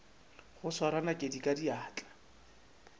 go swara nakedi ka diatla